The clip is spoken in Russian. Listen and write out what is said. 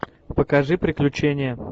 покажи приключения